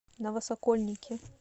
новосокольники